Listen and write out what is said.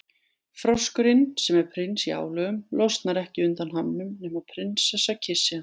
Froskurinn, sem er prins í álögum, losnar ekki undan hamnum nema prinsessa kyssi hann.